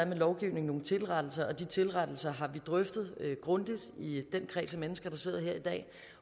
med lovgivning nogle tilrettelser og de tilrettelser har vi drøftet grundigt i den kreds af mennesker der sidder her i dag